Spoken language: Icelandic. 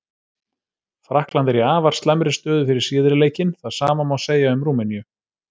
Frakkland er í afar slæmri stöðu fyrir síðari leikinn, það sama má segja um Rúmeníu.